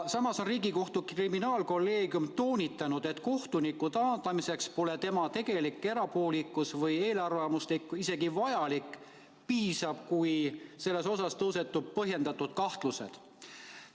Samas on Riigikohtu kriminaalkolleegium toonitanud, et kohtuniku taandamiseks polegi vajalik tõestada tema tegelikku erapoolikust või eelarvamusi, piisab, kui selles osas tõusetuvad põhjendatud kahtlused.